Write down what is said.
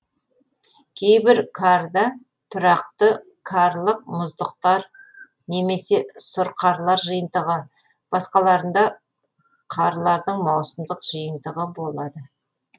кейбір карда тұрақты карлық мұздықтар немесе сұрқарлар жиынтығы басқаларында карлардың маусымдық жиынтығы болады